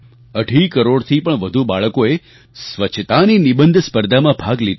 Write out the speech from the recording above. અઢી કરોડથી વધુ બાળકોએ સ્વચ્છતાની નિબંધ સ્પર્ધામાં ભાગ લીધો